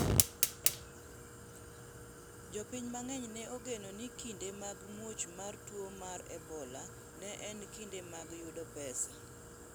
jopiny mang'eny ne ogeno ni kinde mag muoch mar tuo mar ebola ne en kinde mag yudo pesa